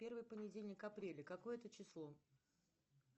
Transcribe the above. первый понедельник апреля какое это число